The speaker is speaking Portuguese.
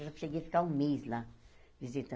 Eu já cheguei a ficar um mês lá visitando.